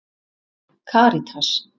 Karítas